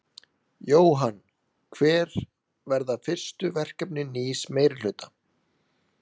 Jóhann: Hver verða fyrstu verkefni nýs meirihluta?